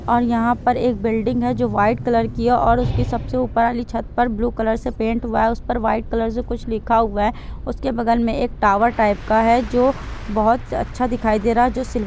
और यहाँ पर एक बिल्डिंग है जो वाइट कलर की है और उसके सबसे ऊपर वाली छत पर ब्लू कलर से पेंट हुआ है। उस पर वाइट कलर से कुछ लिखा हुआ है। उसके बगल में एक टावर टाइप का है जो बहोत अच्छा दिखाई दे रहा है। जो सिल्व --